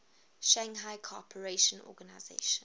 shanghai cooperation organization